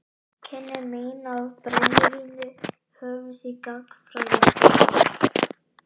Kynni mín af brennivíni hófust í gagnfræðaskóla.